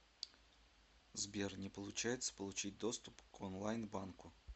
сбер не получается получить доступ к онлайн банку